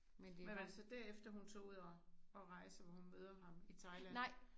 Men var det så derefter hun tog ud at at rejse hvor hun møder ham i Thailand?